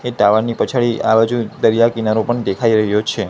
તે ટાવર ની પછાડી આ બાજુ દરિયા કિનારો પણ દેખાય રહ્યો છે.